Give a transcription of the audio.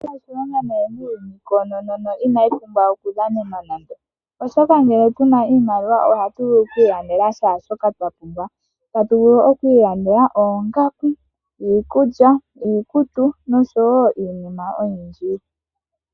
Iimaliwa oyina oshilonga nayi muuyuni konono no inayipumbiwa okudhanenwa nande oshoka, oshoka ngele tuna iimaliwa ohatuvulu okwilandela shashoka twapumbwa, tatuvulu okwilandela oongaku, iikulya, iikutu noshowo iinima oyindji.